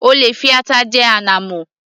O lè fi ata jẹ ànàmọ́